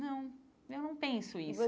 Não, eu não penso isso e